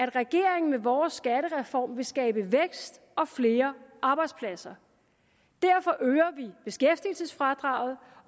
i regeringen med vores skattereform vil skabe vækst og flere arbejdspladser derfor øger vi beskæftigelsesfradraget